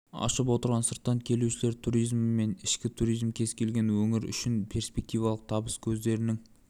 ашып отырған сырттан келушілер туризмі мен ішкі туризм кез келген өңір үшін перспективалық табыс көздерінің